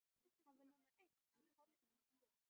Hann var númer eitt en Páll númer tvö.